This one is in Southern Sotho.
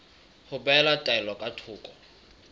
ho behela taelo ka thoko